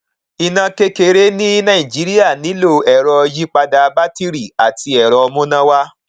iná kékeré ní nàìjíríà nílò ẹrọ yípadà bátìrì àti ẹrọ múná